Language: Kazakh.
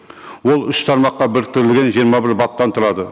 ол үш тармаққа біріктірілген жиырма бір баптан тұрады